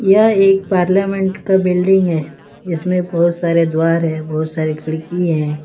यह एक पार्लियामेंट का बिल्डिंग है इसमें बहुत सारे द्वारा है बहुत सारे खिड़की है।